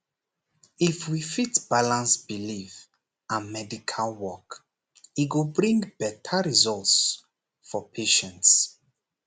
if we fit balance belief and medical work e go bring better results for patients